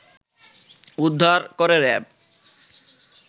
উদ্ধার করে র‌্যাব